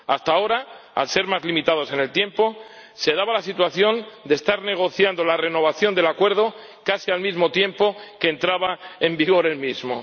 Hasta ahora, al ser más limitados en el tiempo, se daba la situación de estar negociando la renovación del acuerdo casi al mismo tiempo que entraba en vigor el mismo.